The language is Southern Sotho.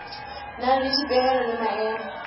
nang le dipehelo le maemo